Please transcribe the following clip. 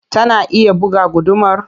Tana iya buga gudumar?